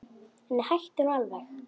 Nei, hættu nú alveg!